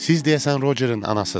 Siz deyəsən Rocerin anasısız.